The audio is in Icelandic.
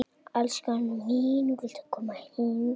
Hún snýr baki í hann.